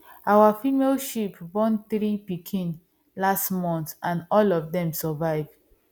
our female sheep born three pikin last month and all of dem survive